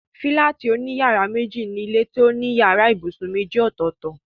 Fílátì òní yàrá méjì ni ilé tó ní yàrá ibùsùn méjì ọ̀tọ̀ọ̀tọ̀